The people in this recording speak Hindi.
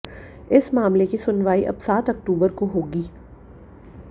इस मामले की सुनवाई अब सात अक्तूबर को होगी